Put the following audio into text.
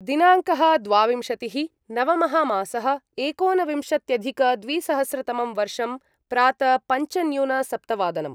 दिनाङ्कः द्वाविंशतिः नवमः मासः एकोनविंशत्यधिकद्विसहस्रतमं वर्षं प्रात पञ्चन्यूनसप्तवादनम्